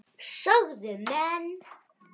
sögðu menn.